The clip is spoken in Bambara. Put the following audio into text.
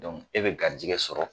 Dɔnku e be garijigɛ sɔrɔ